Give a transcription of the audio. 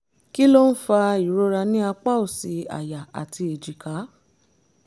kí ló ń fa ìrora ní apá òsì àyà àti èjìká?